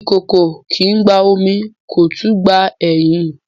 Ìkòkò kìí gba omi kó tún gba ẹyìn